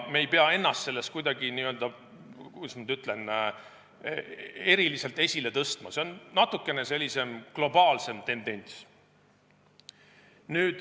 Me ei pea ennast selles kuidagi eriliselt esile tõstma, see on natuke globaalsem tendents.